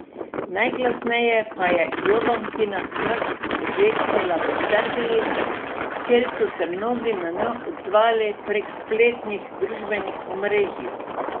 Najglasneje pa je Jovankina smrt odjeknila v Srbiji, kjer so se mnogi nanjo odzvali prek spletnih družbenih omrežij.